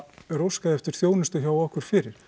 er óskað eftir þjónustu hjá okkur fyrir